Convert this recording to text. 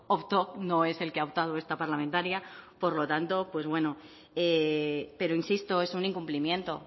optó no es el que ha optado esta parlamentaria por lo tanto pues bueno pero insisto es un incumplimiento